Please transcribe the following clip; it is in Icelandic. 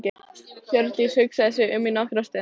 Hjördís hugsaði sig um í nokkra stund.